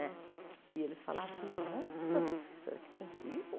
Né e eles falavam assim, nossa, professora, aqui tem rio?